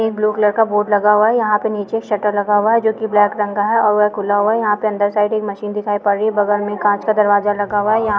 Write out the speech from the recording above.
एक blue colour का board लगा हुआ है यहाँ पे निचे एक शट्टर लगा हुआ है जो की ब्लॅक रंग का है यहाँ पे अंदर साइड एक मशीन दिखाई पड रही है बगल में कांच का दरवाजा लगा हुआ है यहाँ--